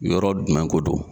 Yɔrɔ dumɛn ko don